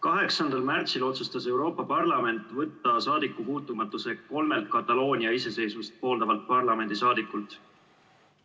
8. märtsil otsustas Euroopa Parlament võtta saadikupuutumatuse kolmelt Kataloonia iseseisvust pooldavalt parlamendisaadikult.